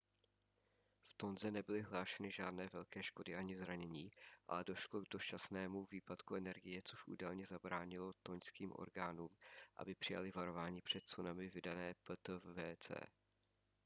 v tonze nebyly hlášeny žádné velké škody ani zranění ale došlo k dočasnému výpadku energie což údajně zabránilo tonžským orgánům aby přijaly varování před tsunami vydané ptwc